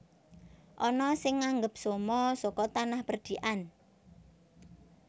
Ana sing nganggep somo saka tanah perdikan